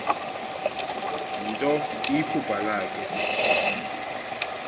nto iphupha lakhe